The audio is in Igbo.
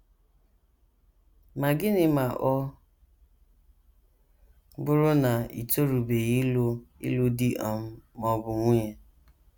Ma gịnị ma ọ bụrụ na i torubeghị ịlụ ịlụ di um ma ọ bụ nwunye?